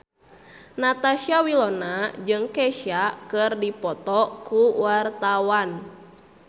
Natasha Wilona jeung Kesha keur dipoto ku wartawan